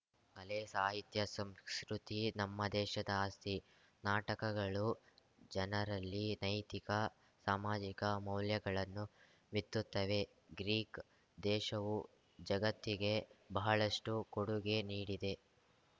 ಕಲೆ ಸಾಹಿತ್ಯ ಸಂಸ್ಕೃತಿ ನಮ್ಮ ದೇಶದ ಆಸ್ತಿ ನಾಟಕಗಳು ಜನರಲ್ಲಿ ನೈತಿಕ ಸಾಮಾಜಿಕ ಮೌಲ್ಯಗಳನ್ನು ಬಿತ್ತುತ್ತವೆ ಗ್ರೀಕ್‌ ದೇಶವು ಜಗತ್ತಿಗೆ ಬಹಳಷ್ಟುಕೊಡುಗೆ ನೀಡಿದೆ